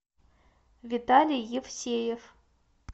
виталий евсеев